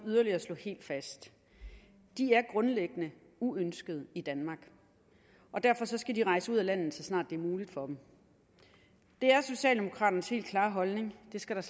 yderligere slå helt fast de er grundlæggende uønskede i danmark og derfor skal de rejse ud af landet så snart det er muligt for dem det er socialdemokraternes helt klare holdning det skal der